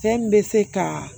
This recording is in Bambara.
Fɛn min bɛ se ka